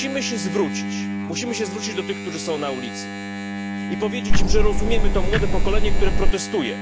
Musimy się zwrócić do tych, którzy są na ulicy, i powiedzieć im, że rozumiemy to młode pokolenie, które protestuje.